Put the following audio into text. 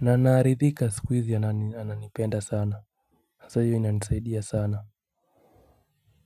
na anaridhika sikuhizi ananipenda sana sasa hio inanisaidia sana.